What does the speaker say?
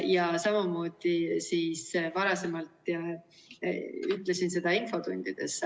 Ja samamoodi varasemalt ütlesin seda infotundides.